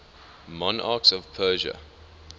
monarchs of persia